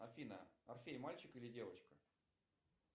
афина орфей мальчик или девочка